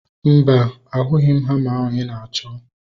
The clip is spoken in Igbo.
Mba, ahubeghi m hama ahu ị na-achọ